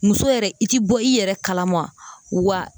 Muso yɛrɛ i ti bɔ i yɛrɛ kalama wa